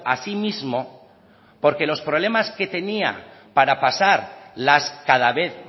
a sí mismo porque los problemas que tenía para pasar las cada vez